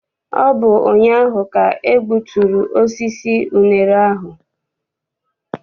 Ọ bụ ụnyaahụ ka e gbuturu osisi unere ahụ.